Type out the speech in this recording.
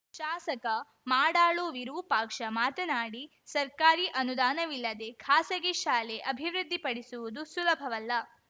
ಶಾಸಕ ಮಾಡಾಳು ವಿರೂಪಾಕ್ಷ ಮಾತನಾಡಿ ಸರ್ಕಾರಿ ಅನುದಾನವಿಲ್ಲದೇ ಖಾಸಗಿ ಶಾಲೆ ಅಭಿವೃದ್ಧಿ ಪಡಿಸುವುದು ಸುಲಭವಲ್ಲ